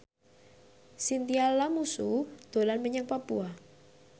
Chintya Lamusu dolan menyang Papua